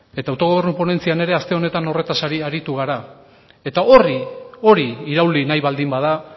eta autogobernu ponentzian ere aste honetan horretaz aritu gara hori irauli nahi baldin bada